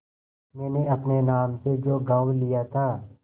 मैंने अपने नाम से जो गॉँव लिया था